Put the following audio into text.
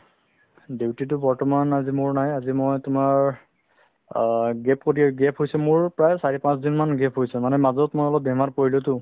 duty তো বৰ্তমান আজি মোৰ নাই আজি মই তোমাৰ অ gap প্ৰতি gap হৈছে মোৰ প্ৰায় চাৰি-পাঁচদিন মান gap হৈছে মানে মাজত মই অলপ বেমাৰত পৰিলোতো